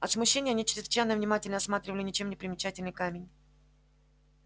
от смущения они чрезвычайно внимательно осматривали ничем не примечательный камень